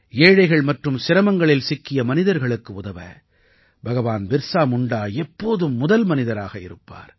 ஏழைகள் மற்றும் சிரமங்களில் சிக்கிய மனிதர்களுக்கு உதவ பகவான் பிர்ஸா முண்டா எப்போதும் முதல் மனிதராக இருப்பார்